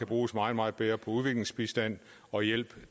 bruges meget meget bedre på udviklingsbistand og hjælp